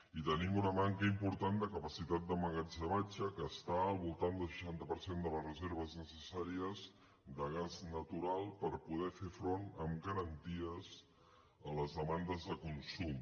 i tenim una manca important de capacitat d’emmagatzematge que està al voltant del seixanta per cent de les reserves necessà·ries de gas natural per poder fer front amb garanties a les demandes de consum